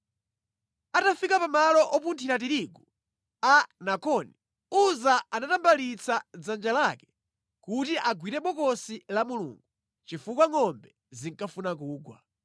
Atafika pa malo opunthira tirigu a Nakoni, Uza anatambalitsa dzanja lake kuti agwire Bokosi la Mulungu, chifukwa ngʼombe zinkafuna kugwa.